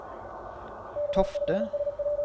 Tofte